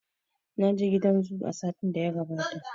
Naje gidan zu a satin da ya gabata